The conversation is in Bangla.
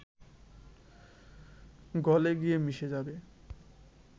গলে গিয়ে মিশে যাবে